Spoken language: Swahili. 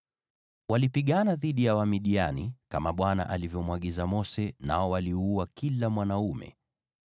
Walipigana dhidi ya Wamidiani, kama Bwana alivyomwagiza Mose, nao waliua kila mwanaume.